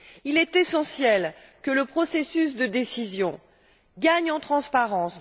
Il est essentiel que le processus de décision gagne en transparence.